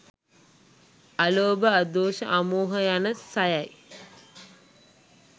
අලෝභ, අදෝස, අමෝහ යන සයයි.